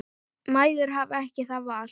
Mæður hafa ekki það val.